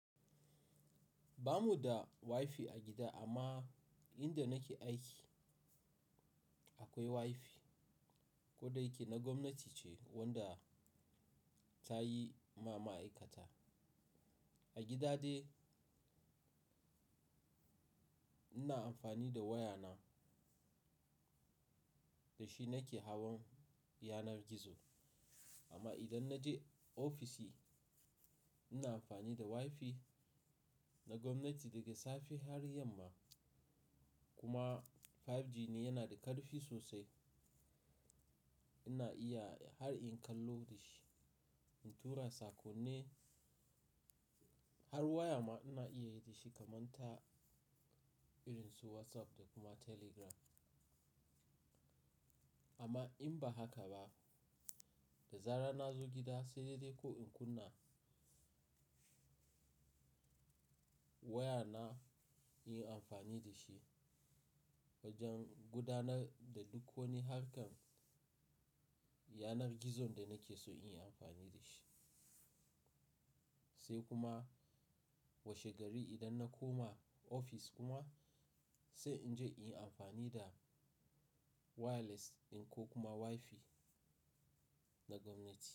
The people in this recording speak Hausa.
Bamu da Wi-Fi a gida amma inda nake aiki akwai Wi-Fi. Ko da yake na gwamnati ce wadda ta yi ma ma'aikata. A gida dai ina amfani da waya na, da shi nake hawan yanar gizo. Amma idan na je ofishi ina amfani da Wi-Fi na gwamnati daga safe har yamma. Kuma 5G ne, yana da ƙarfi sosai. Ina iya har in kallo da shi, in tura sako ne har waya ma ina iya yi da shi kamar ta irin su WhatsApp da kuma Telegram. Amma in ba haka ba, da zarar na zo gida, sai dai ko in kunna waya na in yi amfani da shi wajen gudanar da duk wani harkar yanar gizon da nake so in yi amfani da shi. Sai kuma washe gari idan na koma ofis kuma, sai in je in yi amfani da wireless in ko kuma Wi-Fi na gwamnati.